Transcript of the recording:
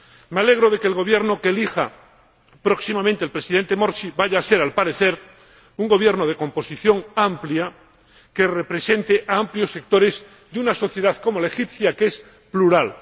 Me alegro de que el Gobierno que elija próximamente el Presidente Morsi vaya a ser, al parecer, un gobierno de composición amplia que represente a amplios sectores de una sociedad como la egipcia, que es plural.